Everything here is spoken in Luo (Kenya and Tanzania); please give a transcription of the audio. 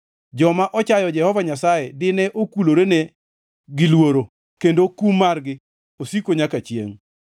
Joma ochayo Jehova Nyasaye dine okulorene gi luoro, kendo kum margi osiko nyaka chiengʼ.